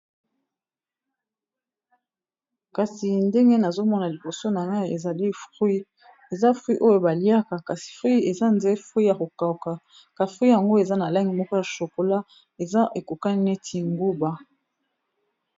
Kasi ndenge nazomona liboso na ngai ezali frui eza frui oyo baliaka neti nguba, yakokauka.